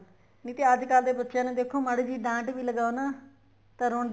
ਨਹੀਂ ਤੇ ਅੱਜਕਲ ਦੇ ਬੱਚਿਆ ਨੂੰ ਦੇਖੋ ਮਾੜੀ ਜੀ ਡਾਂਟ ਵੀ ਲਗਾਓ ਨਾ ਤਾਂ ਰੋਦੇ